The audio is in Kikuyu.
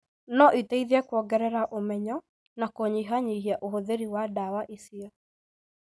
no iteithie kwongerera ũmenyo na kũnyihanyihia ũhũthĩri wa ndawa icio.